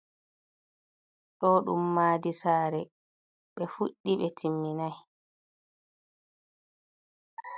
Ɗo ɗum madi sare ɓe fuɗɗi ɓe timmitinai.